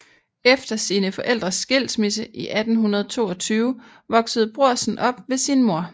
Efter sine forældres skilsmisse i 1822 voksede Brorsen op ved sin mor